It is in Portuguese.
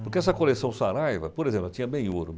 Porque essa coleção Saraiva, por exemplo, ela tinha bem ouro.